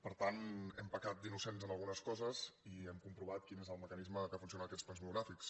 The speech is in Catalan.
per tant hem pecat d’innocents en algunes coses i hem comprovat quin és el mecanisme que funciona en aquests plens monogràfics